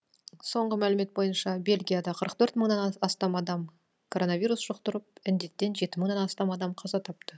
соңғы мәлімет бойынша бельгияда қырық төрт мыңнан астам адам короновирус жұқтырып індеттен жеті мыңнан астам адам қаза тапты